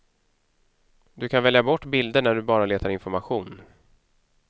Du kan välja bort bilder när du bara letar information.